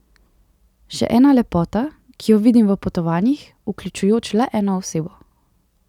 Še ena lepota, ki jo vidim v potovanjih, vključujoč le eno osebo.